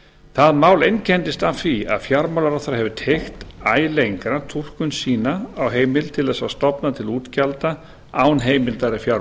það mál einkennist af því að fjármálaráðherra hefur teygt æ lengra túlkun sína á heimild til þess að stofna til útgjalda án heimildar í fjárlögum